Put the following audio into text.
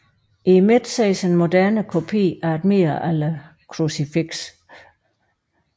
I midten ses en moderne kopi af et middelalderkrucifiks